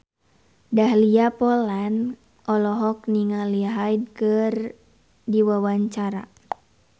Dahlia Poland olohok ningali Hyde keur diwawancara